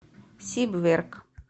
сибверк